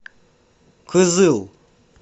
кызыл